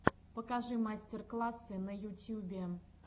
покажи мастер классы на ютьюбе